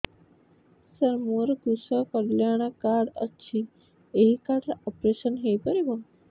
ସାର ମୋର କୃଷକ କଲ୍ୟାଣ କାର୍ଡ ଅଛି ଏହି କାର୍ଡ ରେ ଅପେରସନ ହେଇପାରିବ